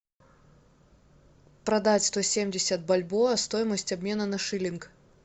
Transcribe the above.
продать сто семьдесят бальбоа стоимость обмена на шиллинг